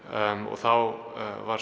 þá var